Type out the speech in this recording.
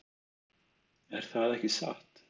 Er það ekki satt?